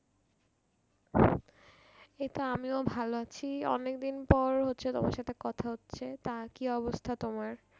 এইতো আমিও ভালো আছি অনেকদিন পর হচ্ছে তোমার সাথে কথা হচ্ছে তা কি অবস্থা তোমার?